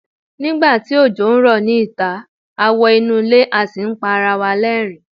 nigba ti ojo n rọ ni ita, a wo inu ile a sì n pa ara wa l'ẹrin